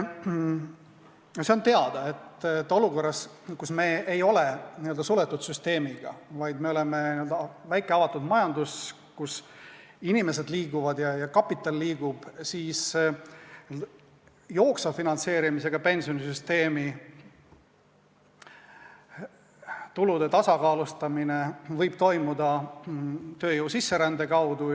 See on teada, et olukorras, kus me ei ole n-ö suletud süsteem, vaid oleme väike avatud majandus, kus inimesed liiguvad ja kapital liigub, võib jooksva finantseerimisega pensionisüsteemi tulude tasakaalustamine toimuda tööjõu sisserände kaudu.